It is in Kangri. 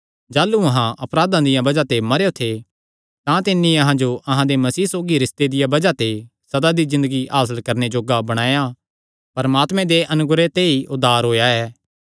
जाह़लू अहां अपराधां दिया बज़ाह ते मरेयो थे तां तिन्नी अहां जो अहां दे मसीह सौगी रिस्ते दिया बज़ाह ते सदा दी ज़िन्दगी हासल करणे जोग्गा बणाया परमात्मे दे अनुग्रह ते ई तुहां दा उद्धार होएया ऐ